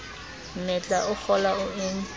mmetla o kgola o e